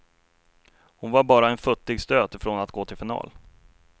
Hon var bara en futtig stöt ifrån att gå till final.